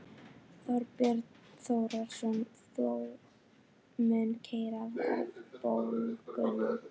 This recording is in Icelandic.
Þorbjörn Þórðarson: Það mun keyra verðbólguna?